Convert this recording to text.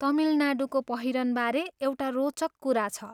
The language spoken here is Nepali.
तमिलनाडूको पहिरनबारे एउटा रोचक कुरा छ।